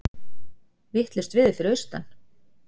Vitlaust veður fyrir austan